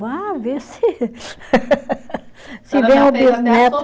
Vá, vê se, se vem um bisneto.